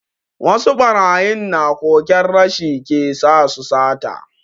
Wasu barayin na koken rashi ke sa su sata.